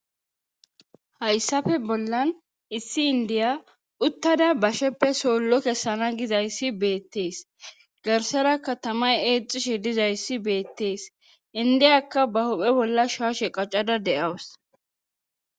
hayssafe bollan issi indiya uttada basheppe soollo kessana gizayssi beettees garsara katamay eexishi dizayssi beettees indiyakka ba huphe bolla shooshe qaccada de7awus